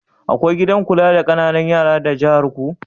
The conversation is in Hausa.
Akwai gidan kula da ƙananan yara da jiharku?